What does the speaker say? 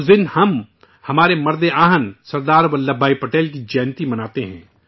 اس دن ہمارے مرد آہن سردار ولبھ بھائی پٹیل کی جینتی مناتے ہیں